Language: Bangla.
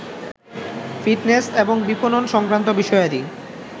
ফিটনেস এবং বিপনন সংক্রান্ত বিষয়াদি